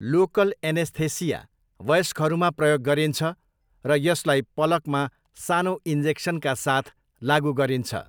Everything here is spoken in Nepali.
लोकल एनेस्थेसिया वयस्कहरूमा प्रयोग गरिन्छ र यसलाई पलकमा सानो इन्जेक्सनका साथ लागु गरिन्छ।